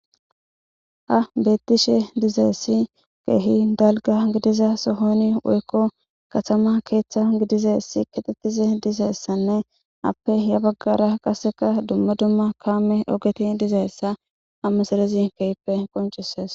Ha betishe dizaysi kehi dalga gidizza sohan woymo katama keethi dizaysanne appe yabagara dumma duma kamey ogendizayssa ha misiley kehippe qoncisees